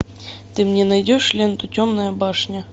ты мне найдешь ленту темная башня